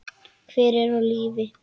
Hver er á lífi?